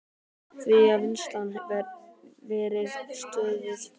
Því hafi vinnslan verið stöðvuð.